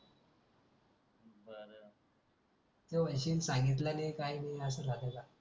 तो म्हणशील सांगितलं नाही काही अस झाल का